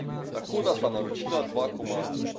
Tako da sva naročila dva komada.